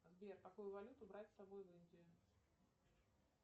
сбер какую валюту брать с собой в индию